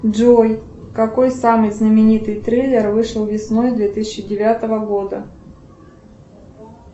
джой какой самый знаменитый трейлер вышел весной две тысячи девятого года